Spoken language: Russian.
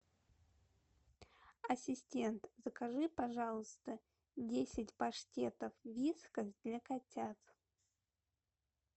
ассистент закажи пожалуйста десять паштетов вискас для котят